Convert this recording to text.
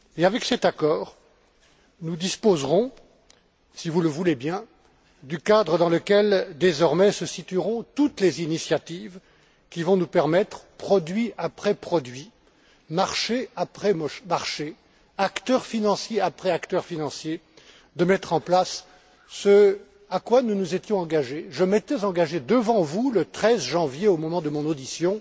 Avec cet accord, nous disposerons, si vous le voulez bien, du cadre dans lequel se situeront désormais toutes les initiatives qui vont nous permettre, produit après produit, marché après marché, acteur financier après acteur financier, de mettre en place ce à quoi nous nous étions engagés je m'étais engagé devant vous, le 13 janvier, au moment de mon audition